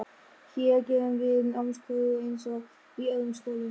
Hér gerum við námskröfur eins og í öðrum skólum.